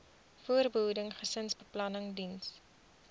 voorbehoeding gesinsbeplanning diens